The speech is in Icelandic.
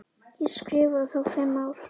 Ég skrifa þá fimm ár.